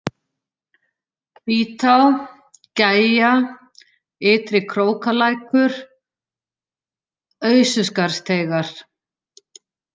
Hvítá, Gægja, Ytri-Krókalækur, Aususkarðsteigar